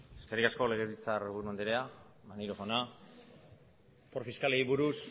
eskerrik asko legebiltzarburu andrea maneiro jaina opor fiskalei buruz